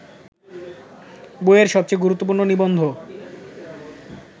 বইয়ের সবচেয়ে গুরুত্বপূর্ণ নিবন্ধ